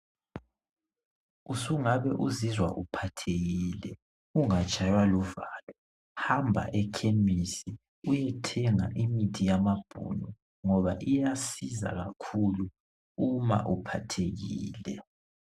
Usungabe uzizwa uphathekile ungatshaywa luvalo hamba ekhemisi uyethenga imithi yamabhunu ngoba iyasiza kakhulu uma uphathekile.